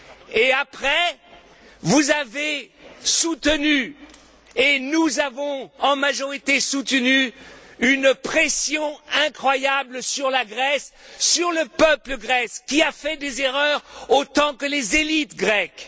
Et après, vous avez soutenu et nous avons en majorité soutenu une pression incroyable sur la Grèce, sur le peuple grec qui a fait des erreurs autant que les élites grecques.